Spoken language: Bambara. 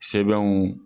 Sɛbɛnw